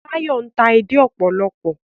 Tayo n'ta èdè òpòlopò